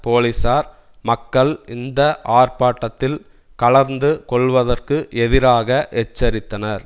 போலீசார் மக்கள் இந்த ஆர்ப்பாட்டத்தில் கலந்து கொள்வதற்கு எதிராக எச்சரித்தனர்